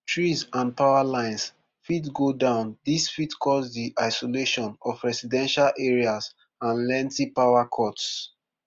trees and power lines fit go down dis fit cause di isolation of residential areas and lengthy power cuts